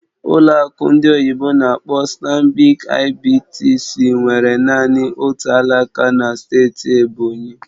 Ụlọ akụ ndị oyibo n'akpọ "Stanbic IBTC" nwere naanị otu alaka na steeti Ebonyi